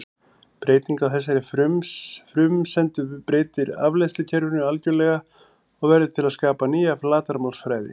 Breyting á þessari frumsendu breytir afleiðslukerfinu algjörlega og verður til að skapa nýja flatarmálsfræði.